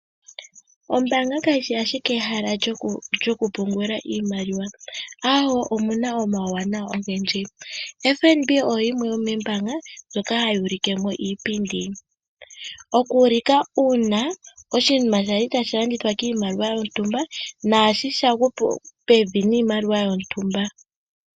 Ombaanga kayishi ashike ehala lyokupungula iimaliwa , aawo omuna omauwanawa ogendji. FNB oyo yimwe yomoombaanga ndjoka hayi ulike iipindi . Okuulika uuna oshinima kwali tashi landithwa kondando yontumba , naasho shagwa pevi nondando yontumba.